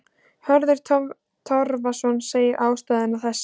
Hörður Torfason segir ástæðuna þessa.